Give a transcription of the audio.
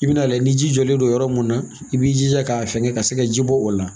I bɛn'a lajɛ ni ji jɔlen don yɔrɔ mun na i b'i jija k'a fɛngɛ ka se ka ji bɔ o la